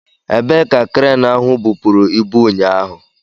Ebee ka kreenu ahụ bupụrụ ibu ụnyaahụ?